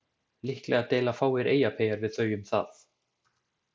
Líklega deila fáir Eyjapeyjar við þau um það.